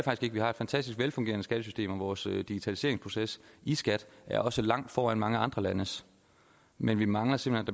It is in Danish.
ikke vi har et fantastisk velfungerende skattesystem og vores digitaliseringsproces i skat er også langt foran mange andre landes men vi mangler simpelt